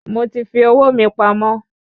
Mo ti fi owó mi pamọ́